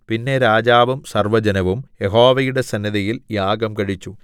പിന്നെ രാജാവും സർവ്വജനവും യഹോവയുടെ സന്നിധിയിൽ യാഗം കഴിച്ചു